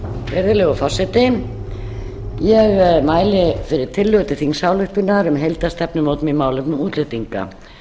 virðulegur forseti ég mæli fyrir tillögu til þingsályktunar um heildarstefnumótun í málefnum útlendinga